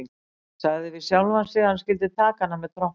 Sagði við sjálfan sig að hann skyldi taka hana með trompi.